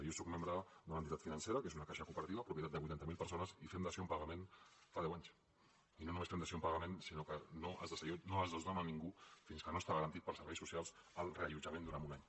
jo sóc membre d’una entitat financera que és una caixa cooperativa propietat de vuitanta mil persones i fem dació en pagament fa deu anys i no només fem dació en pagament sinó que no es desnona ningú fins que no està garantit pels serveis socials el reallotjament durant un any